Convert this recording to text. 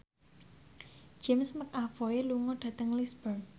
James McAvoy lunga dhateng Lisburn